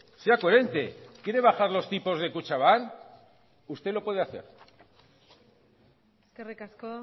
sea coherente quiere bajar los tipos de kutxabank usted lo puede hacer eskerrik asko